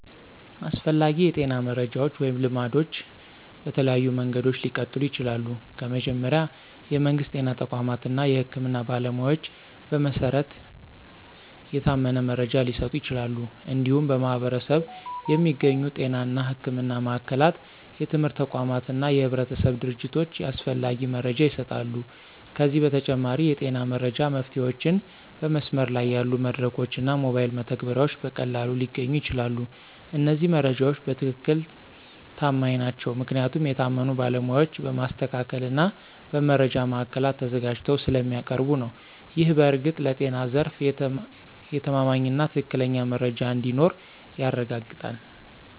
አስፈላጊ የጤና መረጃዎች ወይም ልማዶች በተለያዩ መንገዶች ሊቀጥሉ ይችላሉ። ከመጀመሪያ፣ የመንግስት ጤና ተቋማት እና የህክምና ባለሞያዎች በመሰረት የታመነ መረጃ ሊሰጡ ይችላሉ። እንዲሁም በማኅበረሰብ የሚገኙ ጤና እና ሕክምና ማዕከላት፣ የትምህርት ተቋማት እና የህብረተሰብ ድርጅቶች ያስፈላጊ መረጃ ይሰጣሉ። ከዚህ በተጨማሪ፣ የጤና መረጃ መፍትሄዎችን በመስመር ላይ ያሉ መድረኮች እና ሞባይል መተግበሪያዎች በቀላሉ ሊገኙ ይችላሉ። እነዚህ መረጃዎች በትክክል ተማማኝ ናቸው ምክንያቱም የታመኑ ባለሞያዎች በማስተካከል እና በመረጃ ማዕከላት ተዘጋጅተው ስለሚያቀርቡ ነው። ይህ በእርግጥ ለጤና ዘርፍ የተማማኝና ትክክለኛ መረጃ እንዲኖር ያረጋግጣል።